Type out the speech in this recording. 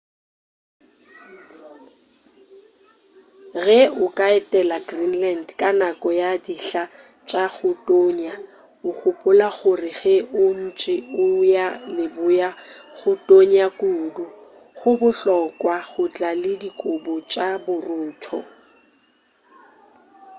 ge o ka etela greenland ka nako ya dihla tša go tonya o gopola gore ge o ntše o eya leboa go tonya kudu go bohlokwa go tla le dikobo tša borutho